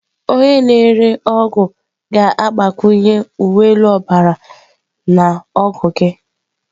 Onye na-ere ọgwụ ga-agbakwunye uwe elu ọbara na ọgwụ gị.